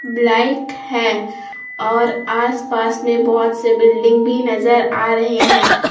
Black है और आसपास में बहोत से बिल्डिंग भी नजर आ रहे हैं।